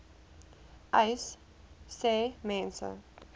uys sê mense